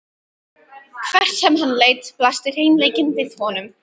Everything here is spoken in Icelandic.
Hvert sem hann leit blasti hreinleikinn við honum.